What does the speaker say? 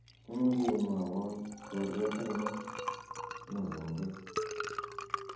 imuche imwowon twolyot ainon negonge